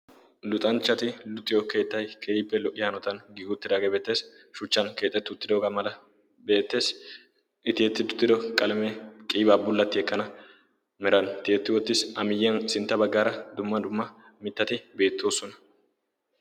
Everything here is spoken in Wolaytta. luxanchchati luxiyo keettay keehippe lo''iyaanotan giigi utiraagee beettees shuchchan keexettu tidoogaa mala beettees tiyettid utido qalamee qiibaa bullatti ekkana miran tiyetti ottissi a miyyiyan sintta baggaara dumma dumma mittati beettoosona